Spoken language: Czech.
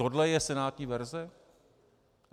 Toto je senátní verze?